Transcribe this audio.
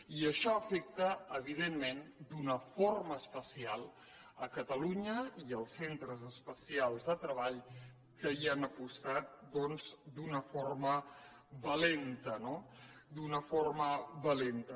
i això afecta evidentment d’una forma especial catalunya i els centres especials de treball que hi han apostat doncs d’una forma valenta no d’una forma valenta